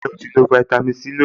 Ǹjẹ́ o ti lo fáítámì Sí lónìí?